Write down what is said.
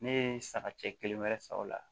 Ne ye sagakisɛ kelen wɛrɛ san o la